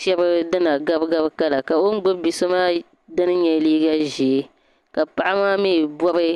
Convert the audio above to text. shɛba dina gabigabi kala ka o ni gbubi bi'so dini nyɛ liiga ʒee ka paɣa maa mi bɔbi.